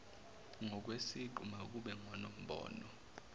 ngokwesiqu makube ngonombono